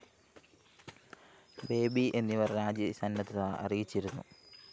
baby എന്നിവര്‍ രാജി സന്നദ്ധത അറിയിച്ചിരുന്നു